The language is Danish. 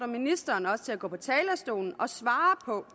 ministeren til at gå på talerstolen og svare på